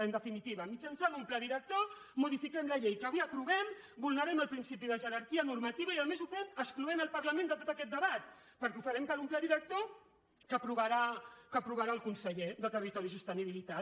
en definitiva mitjançant un pla director modifiquem la llei que avui aprovem vulnerem el principi de jerarquia normativa i a més ho fem excloent el parlament de tot aquest debat perquè ho farem per un pla director que aprovarà el conseller de territori i sostenibilitat